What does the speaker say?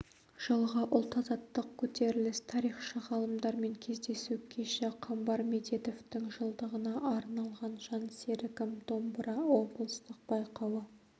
жылғы ұлт-азаттық көтеріліс тарихшы ғалымдармен кездесу кеші қамбар медетовтың жылдығына арналған жан серігім домбыра облыстық байқауы